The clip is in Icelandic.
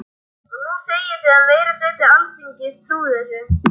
Og nú segið þið að meiri hluti Alþingis trúi þessu.